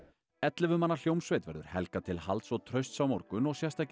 ellefu manna hljómsveit verður Helga til halds og trausts á morgun og sérstakir